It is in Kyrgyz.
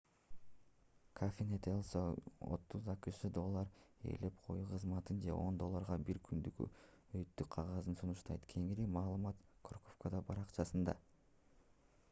cafenet el sol 30 акш долларга ээлеп коюу кызматын же 10 долларга бир күндүк өтүү кагазын сунуштайт кеңири маалымат корковадо баракчасында